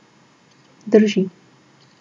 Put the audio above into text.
Drži.